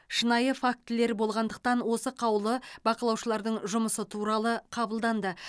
шынайы фактілер болғандықтан осы қаулы бақылаушылардың жұмысы туралы қабылданды